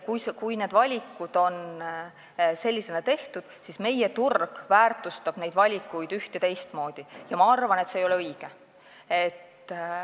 Kui need valikud on sellisena tehtud, siis meie turg väärtustab neid valikuid üht- ja teistmoodi ja ma arvan, et see ei ole õige.